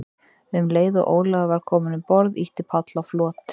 Um leið og Ólafur var kominn um borð, ýtti Páll á flot.